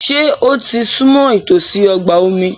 Ṣé ó ti súnmọ́ ìtòsí ọgbà omi?